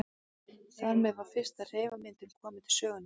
Þar með var fyrsta hreyfimyndin komin til sögunnar.